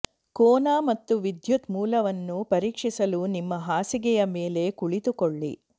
ಕೋನ ಮತ್ತು ವಿದ್ಯುತ್ ಮೂಲವನ್ನು ಪರೀಕ್ಷಿಸಲು ನಿಮ್ಮ ಹಾಸಿಗೆಯ ಮೇಲೆ ಕುಳಿತುಕೊಳ್ಳಿ